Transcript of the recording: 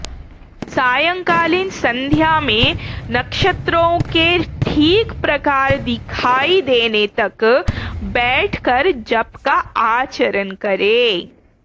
सायंकालीन सन्ध्या में नक्षत्रों के ठीक प्रकार दिखाई देने तक बैठकर जप का आचरण करे